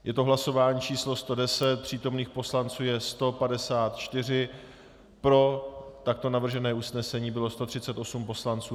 Je to hlasování číslo 110, přítomných poslanců je 154, pro takto navržené usnesení bylo 138 poslanců.